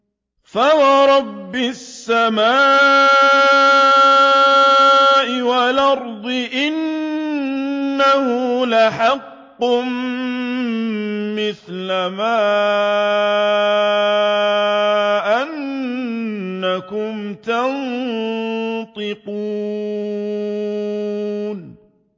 فَوَرَبِّ السَّمَاءِ وَالْأَرْضِ إِنَّهُ لَحَقٌّ مِّثْلَ مَا أَنَّكُمْ تَنطِقُونَ